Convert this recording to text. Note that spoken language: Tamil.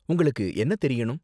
உங்களுக்கு என்ன தெரியணும்?